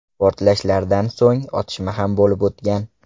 Portlashlardan so‘ng otishma ham bo‘lib o‘tgan.